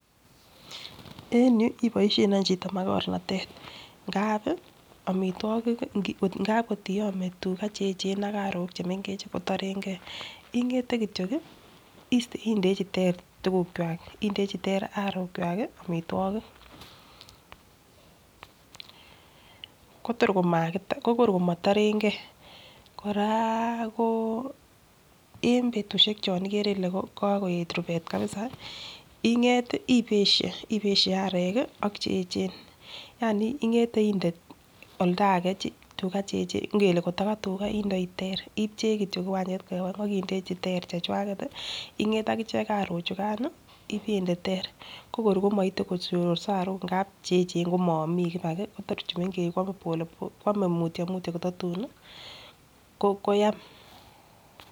En you iboishen any makornatet ngapi omitwokik ngap kotiyome tugaa cheyechen ak arok chemengech kotorengee ingete kityok kii indechi ter tukukwak indechi ter arok kwak kii omitwokik, Kotor komakit kokor komotorengee koraa ko en betushek chon ikere Ile kokoyet rubet kabisa inget tii ibeshe ibeshe arek kii ak cheyechen yani ingete inde oldage tugaa cheyechen ingele koto katugaa indoi ter ipche kityok kiwanchet koyob oengu indechi ter chechwaket tii inget akichek arik chukan nii ipende ter ko kor komoite koshororso arok ngap cheyechen komo omik ibaki tor chemengech kwome pole kwome mutyo mutyo kotatun nii ko koyam.